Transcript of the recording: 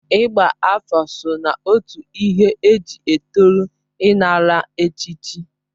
Ịgba afọ so na otu ihe eji etoru ịnara echichi.